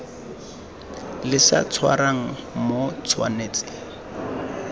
le sa tshwarang o tshwanetse